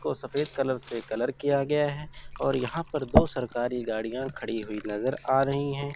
को सफेद कलर से कलर किया गया है और यहां पर दो सरकारी गाड़ियां खड़ी हुई नजर आ रही है।